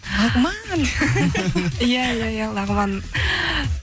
лағман иә иә иә лағман